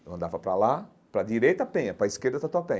Eu andava para lá, para a direita Penha, para a esquerda Tatuapé.